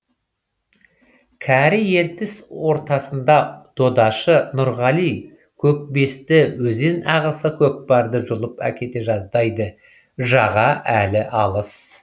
кәрі ертіс ортасында додашы нұрғали көкбесті өзен ағысы көкпарды жұлып әкете жаздайды жаға әлі алыс